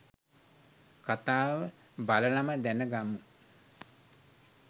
කථාව බලලම දැනගමු.